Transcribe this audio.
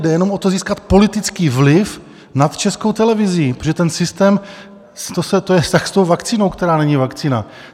Jde jenom o to, získat politický vliv nad Českou televizí, protože ten systém, to je vztah s tou vakcínou, která není vakcína.